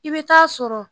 I bɛ taa sɔrɔ